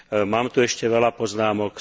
Mám tu ešte veľa poznámok.